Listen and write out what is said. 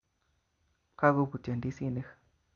Kakobutyo ndisi'nik